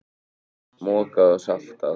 Mokað og saltað.